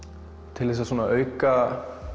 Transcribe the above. til þess að auka